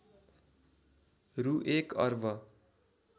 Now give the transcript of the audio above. रु १ अर्ब